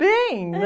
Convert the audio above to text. Bem